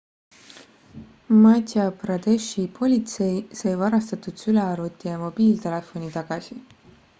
madhya pradeshi politsei sai varastatud sülearvuti ja mobiiltelefoni tagasi